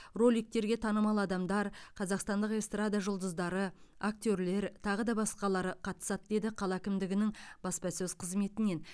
роликтерге танымал адамдар қазақстандық эстрада жұлдыздары актерлер тағы басқалары қатысады деді қала әкімдігінің баспасөз қызметінен